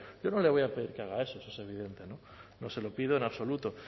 yo no le voy a pedir que haga eso eso es evidente no no se lo pido en absoluto